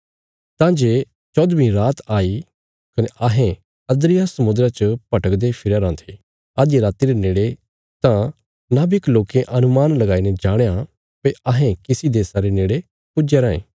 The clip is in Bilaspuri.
तां जे चौहदवीं रात आई कने अहें अद्रिया समुद्रा च भटकदे फिरया राँ थे अधिया राति रे नेड़े तां नाविक लोकें अनुमान लगाईने जाणया भई अहें किसी देशा रे नेड़े पुज्या रायें